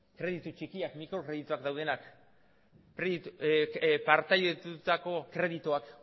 kreditu txikiak mikrokredituak daudenak partekatutako kredituak